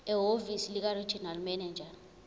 ehhovisi likaregional manager